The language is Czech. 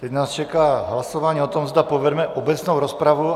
Teď nás čeká hlasování o tom, zda povedeme obecnou rozpravu.